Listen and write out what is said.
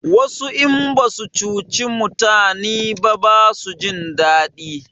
Wasu in basu cuci mutani ba basu jin daɗi